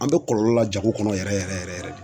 An bɛ kɔlɔlɔ la jago kɔnɔ yɛrɛ yɛrɛ yɛrɛ de.